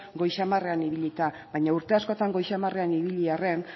goi xamarrean ibilita baina urte askotan goi xamarrean ibili arren